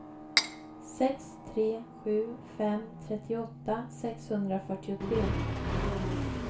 sex tre sju fem trettioåtta sexhundrafyrtiotre